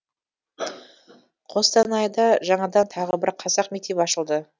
қостанайда жаңадан тағы бір қазақ мектебі ашылды